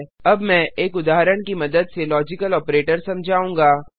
अब मैं एक उदाहरण की मदद से लॉजिकल ऑपरेटर समझाऊँगा